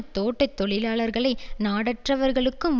தோட்ட தொழிலாளர்களை நாடற்றவர்களுக்கும்